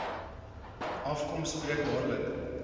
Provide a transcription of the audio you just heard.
afkom spreek dadelik